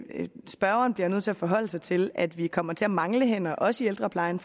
spørgeren bliver nødt til at forholde sig til at vi fremover kommer til at mangle hænder også i ældreplejen